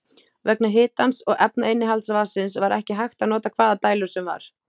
Vegna hitans og efnainnihalds vatnsins var ekki hægt að nota hvaða dælur sem var.